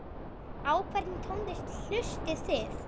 Á hvernig tónlist hlustið þið?